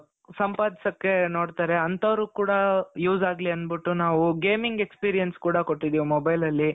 ಸಂಪಾದಿಸೋಕ್ಕೆ ನೋಡ್ತಾರೆ ಅಂತವರಿಗೂ ಕೂಡಾ use ಆಗ್ಲಿ ಅಂದ್ಬಿಟ್ಟು ನಾವು gaming experience ಕೂಡಾ ಕೊಟ್ಟಿದ್ದೀವಿ mobileಅಲ್ಲಿ .